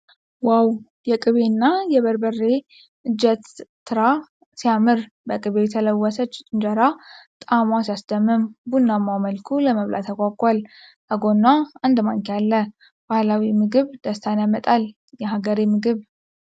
ዋው! የቅቤና የበርብሬ እንጀትራ ሲያምር! በቅቤ የተለወሰች እንጀራ ጣዕሟ ሲያስደምም! ቡናማው መልኩ ለመብላት ያጓጓል ። ከጎኗ አንድ ማንኪያ አለ ። ባህላዊ ምግብ ደስታን ያመጣል ። የሀገሬ ምግብ!